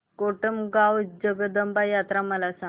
कोटमगाव जगदंबा यात्रा मला सांग